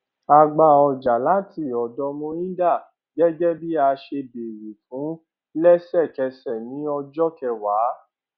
a gba ọjà láti ọdọ mohinder gẹgẹ bí a ṣe béèrè fún lẹsẹkẹsẹ ní ọjọ kẹwàá